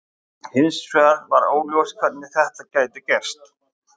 Hins vegar var óljóst hvernig þetta gæti gerst.